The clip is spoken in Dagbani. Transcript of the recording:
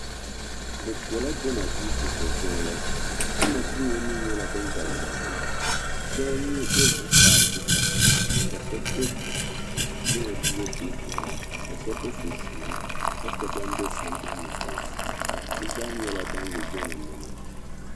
bɛ bela jiɛma duu puhiri jiŋli jiɛma duu ŋɔ mii nyɛla din n-galisi pam shɛba be zuɣusaa puhira ka shɛba be jiɛma duu ŋɔ puuni puhira ka shɛba be sunsuuni ka che ban m-be sambanni kpansi bɛ zaa nyɛla ban n-ye jiɛma niɛma